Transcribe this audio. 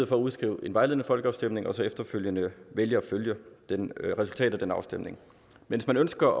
for at udskrive en vejledende folkeafstemning og så efterfølgende vælge at følge resultatet af den afstemning hvis man ønsker